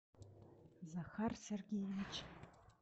захар сергеевич